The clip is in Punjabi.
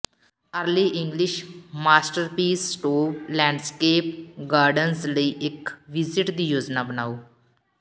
early English masterpiece Stowe landscape gardens ਲਈ ਇੱਕ ਵਿਜਿਟ ਦੀ ਯੋਜਨਾ ਬਣਾਓ